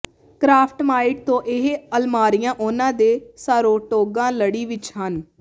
KraftMaid ਤੋਂ ਇਹ ਅਲਮਾਰੀਆ ਉਨ੍ਹਾਂ ਦੇ ਸਾਰੋਟੋਗਾ ਲੜੀ ਵਿਚ ਹਨ